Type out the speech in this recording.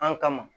An kama